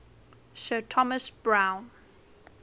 sir thomas browne